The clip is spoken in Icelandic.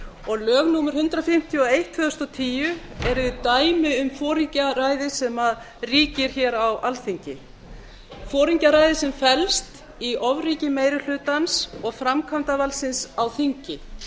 og lög númer hundrað fimmtíu og eitt tvö þúsund og tíu eru dæmi um foringjaræðið sem ríkir hér á alþingi foringjaræði sem felst í ofríki meiri hlutans og framkvæmdarvaldsins á þingi